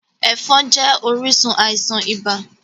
Ẹ̀fọn jẹ́ orísun àisàn ibà